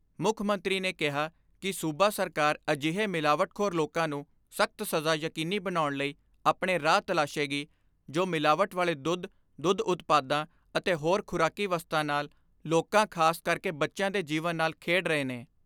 ਮੁੱਖ ਮੰਤਰੀ ਨੇ ਕਿਹਾ ਕਿ ਸੂਬਾ ਸਰਕਾਰ ਅਜਿਹੇ ਮਿਲਾਵਟਖੋਰ ਲੋਕਾਂ ਨੂੰ ਸਖਤ ਸਜ਼ਾ ਯਕੀਨੀ ਬਣਾਉਣ ਲਈ ਆਪਣੇ ਰਾਹ ਤਲਾਸ਼ੇਗੀ ਜੋ ਮਿਲਾਵਟ ਵਾਲੇ ਦੁੱਧ, ਦੁੱਧ ਉਤਪਾਦਾਂ ਅਤੇ ਹੋਰ ਖੁਰਾਕੀ ਵਸਤਾਂ ਨਾਲ ਲੋਕਾਂ ਖਾਸਕਰਕੇ ਬੱਚਿਆਂ ਦੇ ਜੀਵਨ ਨਾਲ ਖੇਡ ਰਹੇ ਨੇ।